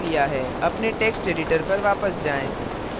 अपने text editor पर वापस जाएँ